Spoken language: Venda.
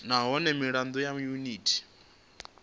nahone mirado ya yuniti ya